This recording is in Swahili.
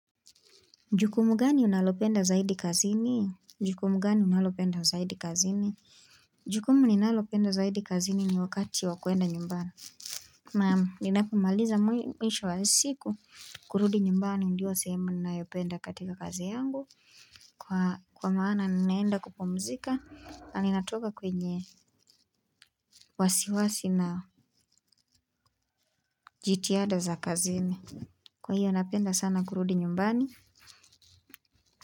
Jukumu gani unalopenda zaidi kazini, jukumu gani unalopenda zaidi kazini jukumu ninalopenda zaidi kazini ni wakati wa kuenda nyumbani. Na ninapomaliza mwisho wa siku, kurudi nyumbani ndio sehemu nayopenda katika kazi yangu. Kwa maana ninaenda kupumzika, na ninatoka kwenye wasiwasi na jitihada za kazini. Kwa hiyo napenda sana kurudi nyumbani.